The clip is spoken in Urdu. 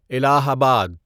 الہ آباد